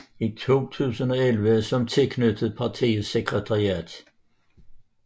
I 2011 som tilknyttet partiets sekretariat